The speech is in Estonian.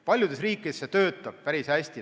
Paljudes riikides töötab see päris hästi.